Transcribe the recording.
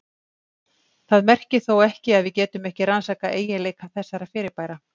Það merkir þó ekki að við getum ekki rannsakað eiginleika þessara fyrirbæra.